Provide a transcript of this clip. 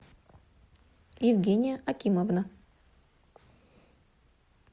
евгения акимовна